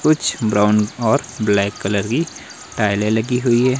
कुछ ब्राउन और black colour की टाइलें लगी हुई है।